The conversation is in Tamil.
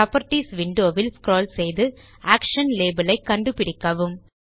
புராப்பர்ட்டீஸ் விண்டோ இல் ஸ்க்ரால் செய்து ஆக்ஷன் லேபல் ஐ கண்டுபிடிக்கவும்